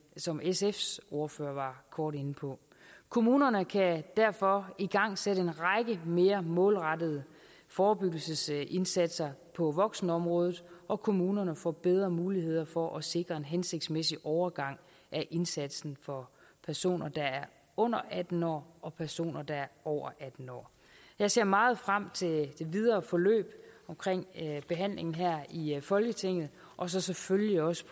som sfs ordfører var kort inde på kommunerne kan derfor igangsætte en række mere målrettede forebyggelsesindsatser på voksenområdet og kommunerne får bedre mulighed for at sikre en hensigtsmæssig overgang af indsatsen for personer der er under atten år og personer der er over atten år jeg ser meget frem til det videre forløb omkring behandlingen her i folketinget og så selvfølgelig også